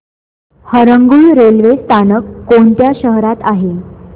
Harangul railway स्थानक कोणत्या शहरात आहे